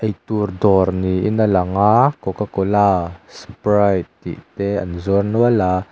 eitur dawr niin a lang a cocacola sprite tih te an zuar nual a.